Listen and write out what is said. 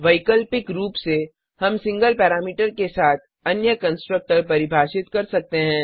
वैकल्पिक रूप से हम सिंगल पैरामीटर के साथ अन्य कंस्ट्रक्टर परिभाषित कर सकते हैं